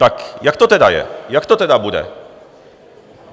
Tak jak to tedy je, jak to tedy bude?